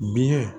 Biyɛn